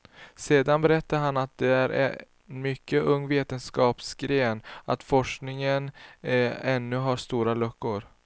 Sedan berättar han att det är en mycket ung vetenskapsgren och att forskningen ännu har stora luckor.